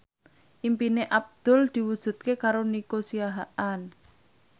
impine Abdul diwujudke karo Nico Siahaan